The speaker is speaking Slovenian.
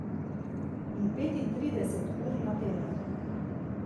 In petintrideset ur na teden.